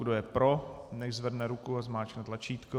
Kdo je pro, nechť zvedne ruku a zmáčkne tlačítko.